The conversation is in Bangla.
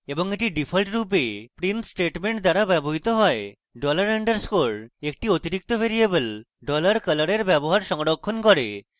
এবং এটি ডিফল্টরূপে print statement দ্বারা ব্যবহৃত হয় $_ dollar underscore এক অতিরিক্ত ভ্যারিয়েবল $color এর ব্যবহার সংরক্ষণ করে